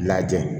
Lajɛ